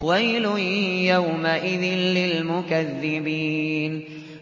وَيْلٌ يَوْمَئِذٍ لِّلْمُكَذِّبِينَ